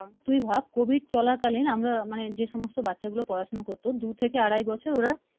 তুই ভাব Covid চলা কালিন আমরা মানে যে সমস্থ বাচা গুলো পড়াশোনা করতো দু থেকে আড়াই বছর ওরা